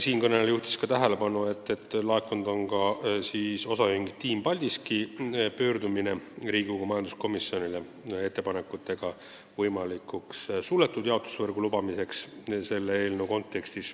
Siinkõneleja juhtis veel tähelepanu, et komisjoni on laekunud ka OÜ Team Paldiski ettepanek Riigikogu majanduskomisjonile, et eelnõuga lubataks suletud jaotusvõrku.